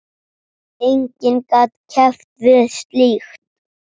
Enginn gat keppt við slíkt.